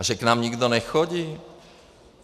A že k nám nikdo nechodí?